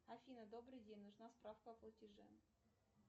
афина добрый день нужна справка о платеже